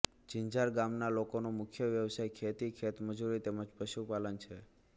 જિંજાર ગામના લોકોનો મુખ્ય વ્યવસાય ખેતી ખેતમજૂરી તેમ જ પશુપાલન છે